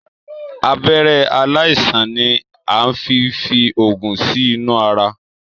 Abẹ̀rẹ̀ aláìsàn ni a fín fí oògùn sinu àrà.